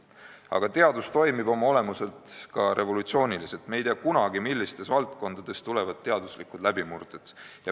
Aga teadus toimib oma olemuselt ka revolutsiooniliselt, me ei tea kunagi, millistes valdkondades tulevad teaduslikud läbimurded.